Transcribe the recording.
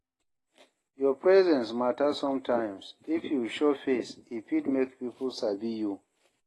Your presence matter sometimes, so if you show face e fit make pipo sabi you